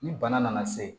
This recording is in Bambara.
Ni bana nana se